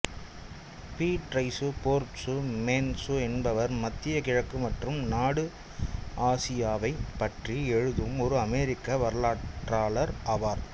Beatrice Forbes Manz என்பவர் மத்திய கிழக்கு மற்றும் நடு ஆசியாவைப் பற்றி எழுதும் ஒரு அமெரிக்க வரலாற்றாளர் ஆவார்